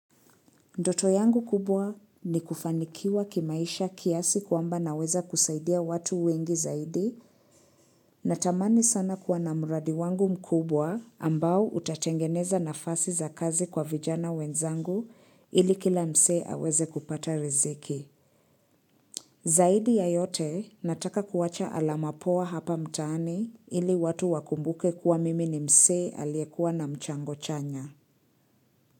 Ndoto yangu kubwa ni kufanikiwa kimaisha kiasi kwamba naweza kusaidia watu wengi zaidi natamani sana kuwa na muradi wangu mkubwa ambao utatengeneza nafasi za kazi kwa vijana wenzangu ili kila msee aweze kupata riziki. Zaidi ya yote nataka kuwacha alama poa hapa mtaani ili watu wakumbuke kuwa mimi ni msee aliyekuwa na mchango chanya.